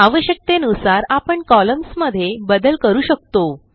आवश्यकतेनुसार आपण कॉलम्न्स मध्ये बदल करू शकतो